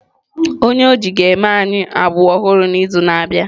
Onye oji ga-eme anyị agbụ ọhụrụ n'izu na-abịa.